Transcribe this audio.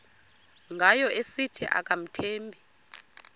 ngayo esithi akamthembi